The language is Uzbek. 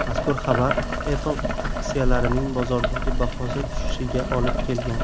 Mazkur xabar Apple aksiyalarining bozordagi bahosi tushishiga olib kelgan.